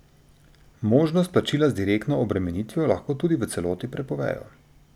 Možnost plačila z direktno obremenitvijo lahko tudi v celoti prepovejo.